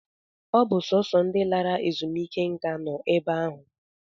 Ọ bụ sọọsọ ndị lara ezumike nká nọ ebe ahụ